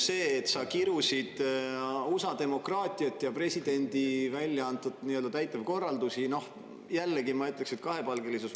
See, et sa kirusid USA demokraatiat ja presidendi korraldusi – jällegi, ma ütleksin, kahepalgelisus.